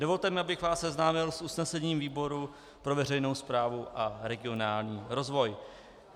Dovolte mi, abych vás seznámil s usnesením výboru pro veřejnou správu a regionální rozvoj.